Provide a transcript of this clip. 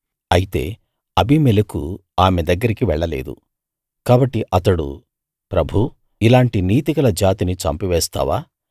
అయితే అబీమెలెకు ఆమె దగ్గరికి వెళ్ళలేదు కాబట్టి అతడు ప్రభూ ఇలాంటి నీతిగల జాతిని చంపివేస్తావా